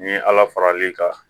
N'i ye ala faral'i kan